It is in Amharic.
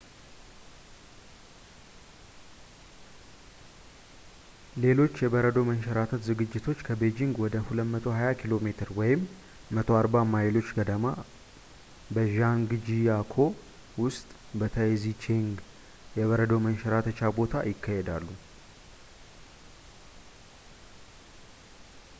ሌሎች የበረዶ መንሸራተት ዝግጅቶች ከቤጂንግ ወደ 220 ኪሜ 140 ማይሎች ገደማ፣ በዣንግጂያኮ ውስጥ በታይዚቼንግ የበረዶ መንሸራተቻ ቦታ ይካሄዳሉ